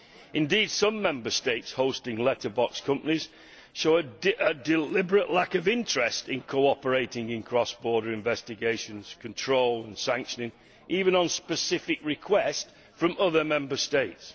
Indeed, some Member States hosting letterbox companies show a deliberate lack of interest in cooperating in cross border investigations, control and sanctions, even on specific request from other Member States.